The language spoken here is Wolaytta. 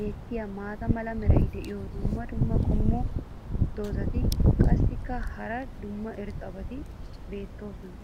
beetiya maata mala meray diyo dumma dumma qommo dozzati qassikka hara dumma dumma irxxabati doosona.